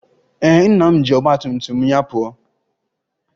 Ee, nna m ji ọgba tum tum ya pụọ